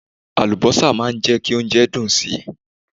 Àlùbọ́sà máa ń jẹ́ kí oúnjẹ dùn si.